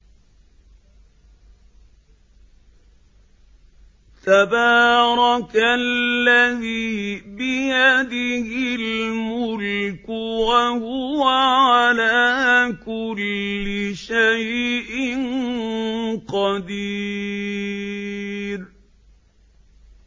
تَبَارَكَ الَّذِي بِيَدِهِ الْمُلْكُ وَهُوَ عَلَىٰ كُلِّ شَيْءٍ قَدِيرٌ